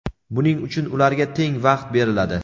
buning uchun ularga teng vaqt beriladi.